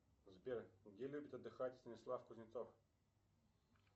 сбер где любит отдыхать станислав кузнецов